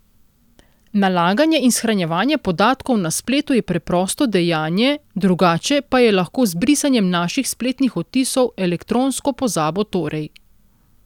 Nalaganje in shranjevanje podatkov na spletu je preprosto dejanje, drugače pa je lahko z brisanjem naših spletnih odtisov, elektronsko pozabo torej.